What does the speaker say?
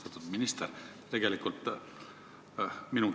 Austatud minister!